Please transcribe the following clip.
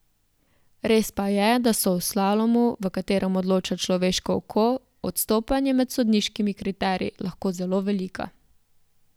Res pa je, da so v slalomu, v katerem odloča človeško oko, odstopanja med sodniškimi kriteriji lahko zelo velika.